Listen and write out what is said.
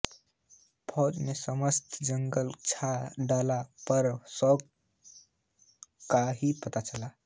फौज ने समस्त जंगल छान डाला मगर शेख का कहीं पता